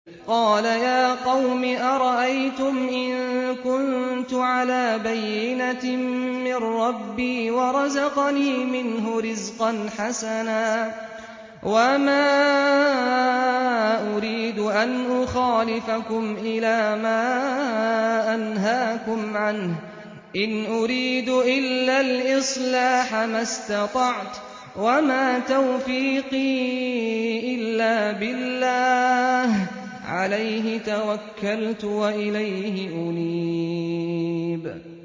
قَالَ يَا قَوْمِ أَرَأَيْتُمْ إِن كُنتُ عَلَىٰ بَيِّنَةٍ مِّن رَّبِّي وَرَزَقَنِي مِنْهُ رِزْقًا حَسَنًا ۚ وَمَا أُرِيدُ أَنْ أُخَالِفَكُمْ إِلَىٰ مَا أَنْهَاكُمْ عَنْهُ ۚ إِنْ أُرِيدُ إِلَّا الْإِصْلَاحَ مَا اسْتَطَعْتُ ۚ وَمَا تَوْفِيقِي إِلَّا بِاللَّهِ ۚ عَلَيْهِ تَوَكَّلْتُ وَإِلَيْهِ أُنِيبُ